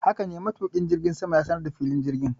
Hakane, matuki jirgin ya sanar da filin jirgin